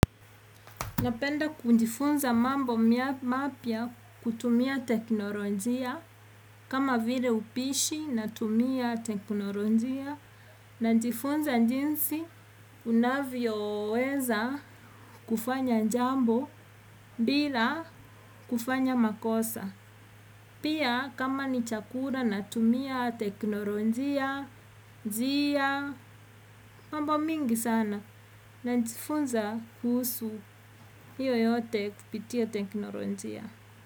Napenda kujifunza mambo mapya kutumia teknolojia kama vile upishi natumia teknolojia najifunza jinsi unavyo weza kufanya jambo bila kufanya makosa. Pia kama ni chakula natumia teknolojia. Njia mambo mingi sana. Najifunza kuhusu hayo yote kupitia teknolojia.